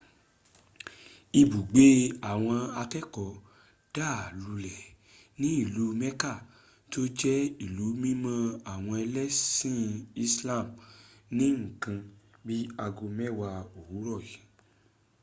ibùgbé àwọn akẹ́ẹ̀kọ́ dà lulẹ̀ ní ìlú mecca tó jẹ́ ìlú mímọ́ àwọn ẹlẹ́sìn islam ní nǹkan bí i aago mẹ́wàá òwúrọ̀ yìí